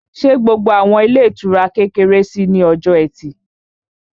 Ṣé gbogbo àwọn ilé ìtura kékeré ṣí ní ọjọ́ ẹtì?